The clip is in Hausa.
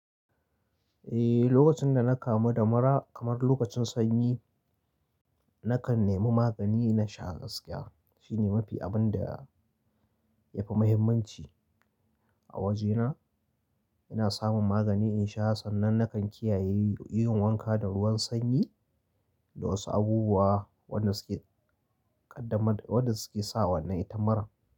Eh, lokacin da na kamu da mura kamar lokacin sanyi, nakan nemi magani na sha gaskiya. Shine mafi abun da yafi muhimmanci a wajena. Ina samun magani in sha sannan nakan kiyaye yin wanka da ruwan sanyi da wasu abubuwa wanda suke ƙaddamar, wanda suke sa wannan ita muran.